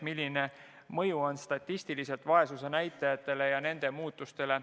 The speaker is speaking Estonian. Milline mõju on vaesuse näitajate muutumisele?